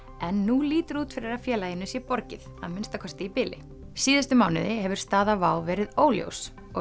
en nú lítur út fyrir að félaginu sé borgið að minnsta kosti í bili síðustu mánuði hefur staða WOW verið óljós og